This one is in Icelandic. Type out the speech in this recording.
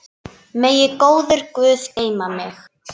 Megi góður Guð geyma þig.